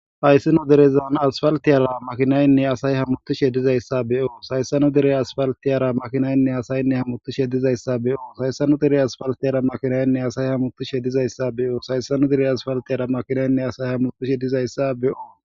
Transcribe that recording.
Hayssino derezan asfaltiyara makinaynne asay hamutu shedizayssa be'o sayssanu dere asfaltiyara makinaynne asayinne hamuttu shedizayssa be'o sayssanu dere asfaltiyara makinaynne asay hamuttu shedizayssa beyoo sayssanu dire asfaltiyara makinaynne asay hamutu shedizayssa be'o.